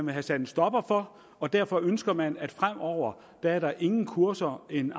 have sat en stopper for og derfor ønsker man at fremover er der ingen kurser en